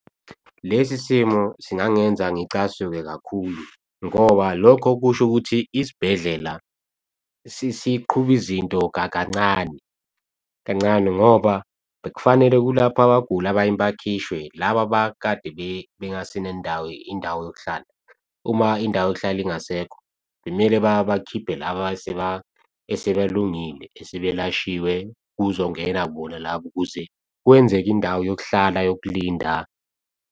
Lesi simo singangenza ngicasuke kakhulu, ngoba lokho kusho ukuthi isibhedlela siqhuba izinto kancane, kancane ngoba bekufanele kulaphwe abaguli abanye bakhishwe laba abakade bengase nendawo, indawo yokuhlala. Uma indawo yokuhlala ingasekho, bekumele bakhiphe laba eseba lungile, esebelashiwe kuzongena bona labo ukuze kwenzeke indawo yokuhlala yokulinda.